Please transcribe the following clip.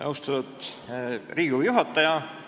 Austatud Riigikogu juhataja!